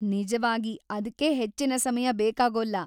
ನಿಜವಾಗಿ ಅದ್ಕೆ ಹೆಚ್ಚಿನ ಸಮಯ ಬೇಕಾಗೋಲ್ಲ.